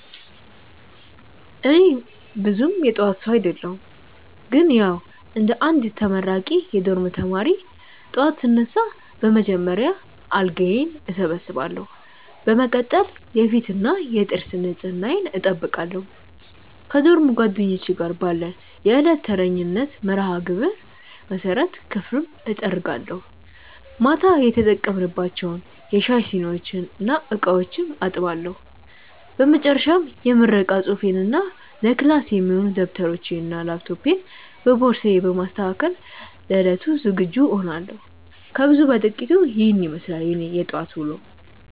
እኔ ብዙም የጠዋት ሰው አደለሁም ግን ያዉ እንደ አንድ ተመራቂ የዶርም ተማሪ፣ ጠዋት ስነሳ በመጀመሪያ አልጋዬን እሰበስባለሁ። በመቀጠል የፊትና የጥርስ ንጽህናዬን እጠብቃለሁ። ከዶርም ጓደኞቼ ጋር ባለን የዕለት ተረኛነት መርሃግብር መሰረት ክፍሉን እጠርጋለሁ፤ ማታ የተጠቀምንባቸውን የሻይ ሲኒዎችና ዕቃዎችም አጥባለሁ። በመጨረሻም የምረቃ ፅሁፌንና ለክላስ የሚሆኑ ደብተሮቼንና ላፕቶፔን በቦርሳዬ በማስተካከል ለዕለቱ ዝግጁ እሆናለሁ። ከብዙ በጥቂቱ ኢሄን ይመስላል የኔ የጠዋት ዉሎ።